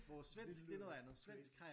Det lyder crazy